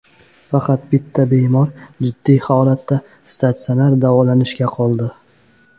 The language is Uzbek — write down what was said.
Faqat bitta bemor jiddiy holatda statsionar davolanishda qoldi.